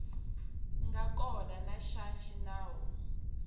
nga kona xa xinawu na